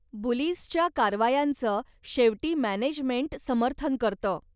बुलीजच्या कारवायांचं शेवटी मॅनेजमेंट समर्थन करतं.